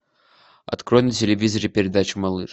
открой на телевизоре передачу малыш